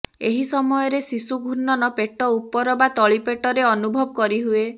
ଏହି ସମୟରେ ଶିଶୁ ଘୂର୍ଣ୍ଣନ ପେଟ ଉପର ବା ତଳିପେଟରେ ଅନୁଭବ କରିହୁଏ